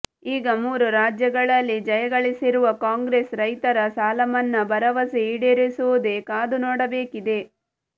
ಈಗ ಮೂರು ರಾಜ್ಯಗಳಲ್ಲಿ ಜಯಗಳಿಸಿರುವ ಕಾಂಗ್ರೆಸ್ ರೈತರ ಸಾಲಮನ್ನಾ ಭರವಸೆ ಈಡೇರಿಸುವುದೇ ಕಾದುನೋಡಬೇಕಿದೆ